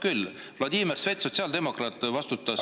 Jah, Vladimir Svet, sotsiaaldemokraat, vastutas …